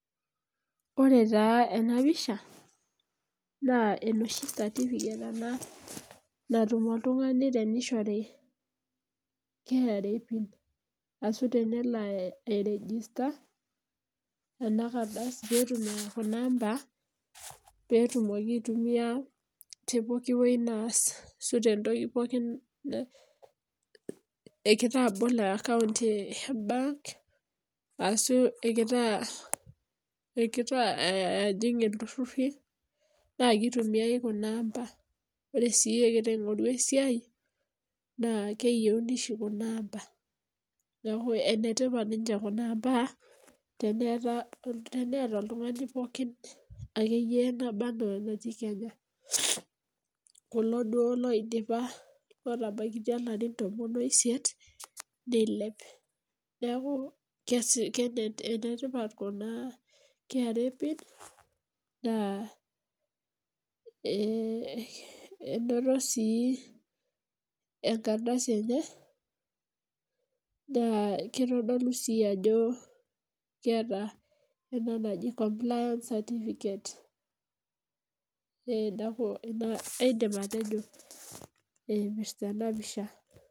Ore taa ena pisha naa enoshi certificate natum oltung'ani teneishori KRA. Keishori ori kunaamba peyie etumoki aitumia toosiatin enyanak anaa emboloto embenki, arashu ejingita iltururi. Ore sii egira aingoru esiai naa keyieuni oshi kumaamba. Neaku enetipat oleng kunaamba teneeta oltungani obaana olotii Kenya. Kulo duo oidipa aatabaiki ilarin tomon oisit neilep. Enetipat oleng kra pin. Enoto sii empalai enye naa keitodolu ajo enoto empalai e compliance.